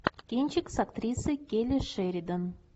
кинчик с актрисой келли шеридан